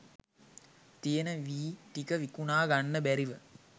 තියෙන වී ටික විකුණා ගන්න බැරිව